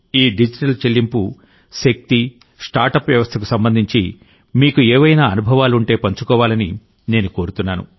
ఈ డిజిటల్ చెల్లింపు శక్తి స్టార్ట్అప్ వ్యవస్థకు సంబంధించి మీకు ఏవైనా అనుభవాలు ఉంటే పంచుకోవాలని నేను కోరుతున్నాను